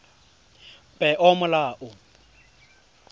peomolao